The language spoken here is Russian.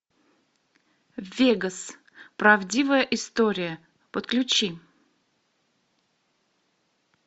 вегас правдивая история подключи